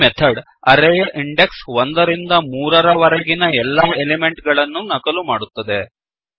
ಈ ಮೆಥಡ್ ಅರೇಯ ಇಂಡೆಕ್ಸ್ 1 ರಿಂದ 3 ರವರೆಗಿನ ಎಲ್ಲಾ ಎಲಿಮೆಂಟ್ ಗಳನ್ನೂ ನಕಲು ಮಾಡುತ್ತದೆ